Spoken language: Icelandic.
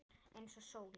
Eins og sólin.